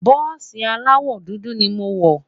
bùsi alawọ dúdú ní mọ wò